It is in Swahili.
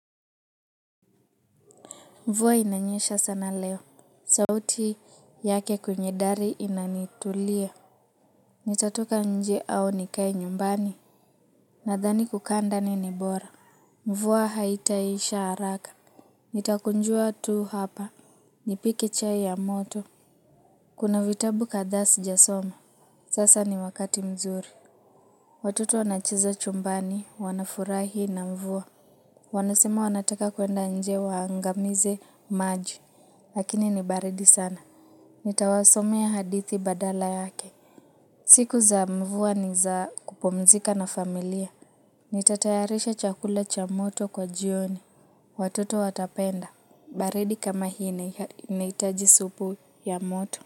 Mvua inanyesha sana leo. Sauti yake kwenye dari inanitulia. Nitatoka nje au nikae nyumbani. Nadhani kukaa ndani ni bora. Mvuwa haitaisha haraka. Nitakunjua tu hapa. Nipike chai ya moto. Kuna vitabu kadhaa sijasoma. Sasa ni wakati mzuri. Watoto wanacheza chumbani, wanafurahi na mvua. Wanasema wanataka kwenda nje waangamize maji. Lakini nibaridi sana. Nitawasomea hadithi badala yake. Siku za mvua ni za kupomzika na familia. Nitatayarisha chakula cha moto kwa jioni watoto watapenda baridi kama hii inahitaji supu ya moto.